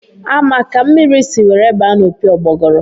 A ma ka mmiri si were baa n'opi ụgbọgụrụ?